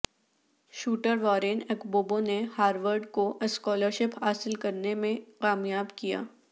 shooter Warren اکبوبو نے Harvard کو اسکالرشپ حاصل کرنے میں کامیاب کیا